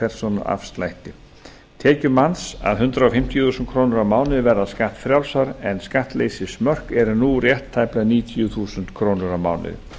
persónuafslætti tekjur manns að hundrað fimmtíu þúsund krónur á mánuði verða skattfrjálsar en skattleysismörk eru nú rétt tæplega níutíu þúsund krónur á mánuði